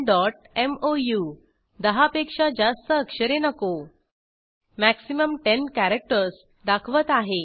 kannanमोऊ दहा पेक्षा जास्त अक्षरे नको मॅक्सिमम 10 कॅरेक्टर्स दाखवत आहे